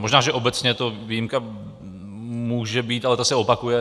Možná že obecně to výjimka může být, ale ta se opakuje.